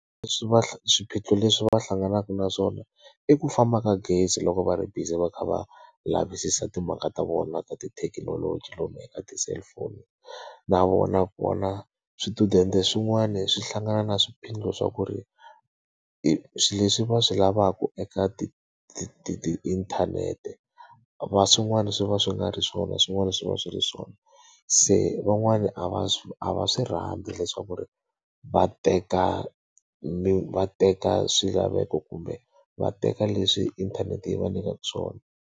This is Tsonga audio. Leswi va swiphiqo leswi va hlanganaka na swona i ku famba ka gezi loko va ri busy va kha va lavisisa timhaka ta vona ta tithekinoloji lomuya eka ti-cellphone. Na vona kona swichudeni swin'wani swi hlangana na swiphiqo swa ku ri, swilo leswi va swi lavaka eka tiinthanete swin'wana swi va swi nga ri swona swin'wana swi va swi ri swona. Se van'wani a va a va swi rhandzi leswaku ri va teka va teka swilaveko kumbe va teka leswi inthanete yi va nyikaka swona.